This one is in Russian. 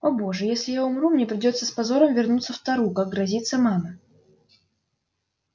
о боже я умру если мне придётся с позором вернуться в тару как грозится мама